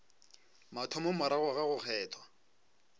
mathomo morago ga go kgethwa